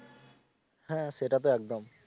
হ্যা সেটা তো একদম